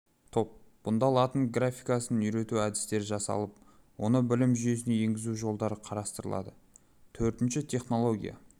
топ бұнда латын графикасын үйрету әдістері жасалып оны білім жүйесіне енгізу жолдары қарастырылады төртінші технология